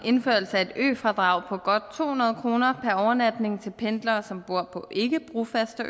af et øfradrag på godt to hundrede kroner per overnatning til pendlere som bor på ikkebrofaste